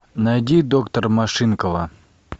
найди доктор машинкова